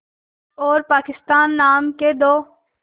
और पाकिस्तान नाम के दो